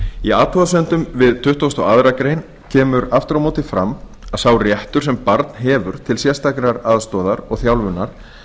í athugasemdum við tuttugustu og aðra grein kemur aftur á móti fram að sá réttur sem barn hefur til sérstakrar aðstoðar og þjálfunar